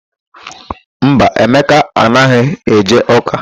Mba, Emeka anaghị eje ụ́kà.